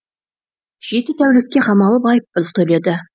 жеті тәулікке қамалып айыппұл төледі